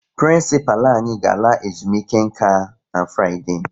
Prịnsịpalụ anyị ga-ala ezumike nka na Fraịde